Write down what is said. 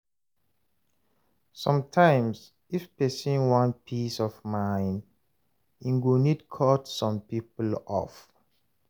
Sometimes, if pesin wan peace of mind, em go need cut some people off.